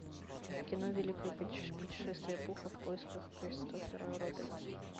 кино великое путешествие пуха в поисках кристофера робина